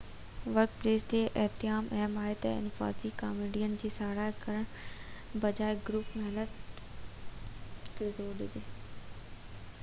work place تي اتحاد اهم آهي انفرادي ڪاميابين جي ساراهه ڪرڻ بجاءِ گروپ محنت تي زور ڏجي